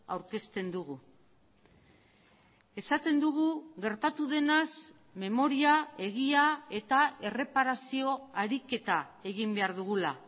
aurkezten dugu esaten dugu gertatu denaz memoria egia eta erreparazio ariketa egin behar dugula